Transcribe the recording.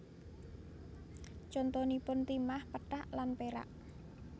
Contonipun timah pethak lan perak